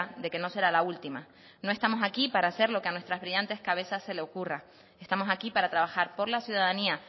de que no será la última no estamos aquí para hacer lo que a nuestras brillantes cabezas se le ocurra estamos aquí para trabajar por la ciudadanía